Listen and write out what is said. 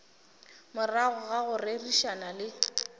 morago ga go rerišana le